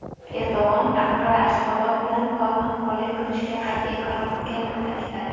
Erdo‘g‘an Anqara Ashxabod bilan faol hamkorlik qilishga qat’iy qaror qilganini ta’kidladi.